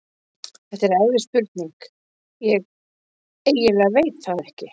Þetta er erfið spurning, ég eiginlega veit það ekki.